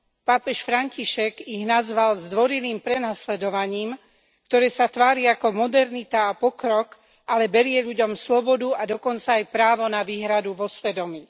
Pápež František ich nazval zdvorilým prenasledovaním, ktoré sa tvári ako modernita a pokrok, ale berie ľuďom slobodu a dokonca aj právo na výhradu vo svedomí.